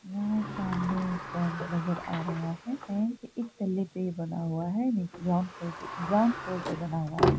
यहाँ एक बैंक नजर आ रहा है| बैंक एक तल्ले पे बना हुआ है ग्राउंड फ्लोर पे ग्राउंड फ्लोर पे बना हुआ है।